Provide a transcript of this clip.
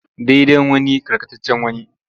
Daidan wani karkatccean wani.